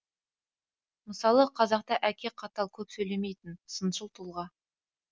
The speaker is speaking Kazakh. мысалы қазақта әке қатал көп сөйлемейтін сыншыл тұлға